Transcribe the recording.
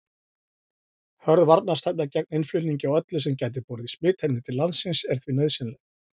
Hörð varnarstefna gegn innflutningi á öllu sem gæti borið smitefni til landsins er því nauðsynleg.